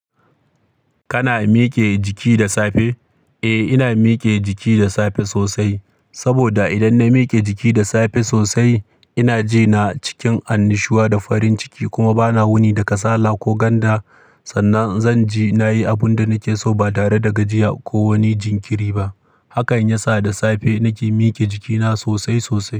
Kana mike jiki da safe? Eh, ina mike jiki da safe sosai. Saboda idan na mike jiki da safe sosai, ina ji na cikin annushuwa da farin ciki kuma bana wuni da kasala ko ganda. Sannan zan je nayi abun da nake so ba tare da gajiya ko wani jinkiri ba. Hakan ya sa da safe nake mike jikina sosai sosai.